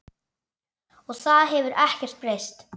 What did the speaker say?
Og það hefur ekkert breyst.